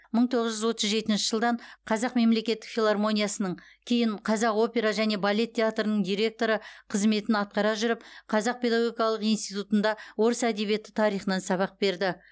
мың тоғыз жүз отыз жетінші жылдан қазақ мемлекеттік филармониясының кейін қазақ опера және балет театрының директоры қызметін атқара жүріп қазақ педагогикалық институтында орыс әдебиеті тарихынан сабақ берді